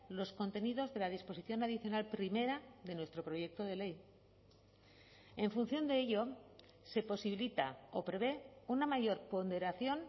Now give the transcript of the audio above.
los contenidos de la disposición adicional primera de nuestro proyecto de ley en función de ello se posibilita o prevé una mayor ponderación